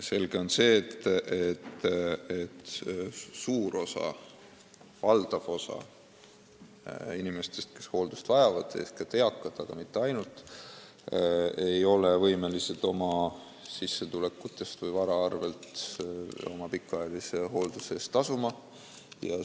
Selge on see, et valdav osa inimestest, kes hooldust vajavad, ehk eakad, aga mitte ainult, ei ole võimelised oma sissetulekute või vara abil oma pikaajalise hoolduse eest tasuma.